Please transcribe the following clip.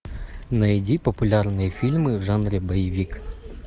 найди популярные фильмы в жанре боевик